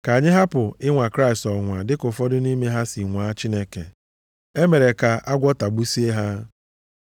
Ka anyị hapụ ịnwa Kraịst ọnwụnwa dịka ụfọdụ nʼime ha si nwaa Chineke. E mere ka agwọ tagbusie ha.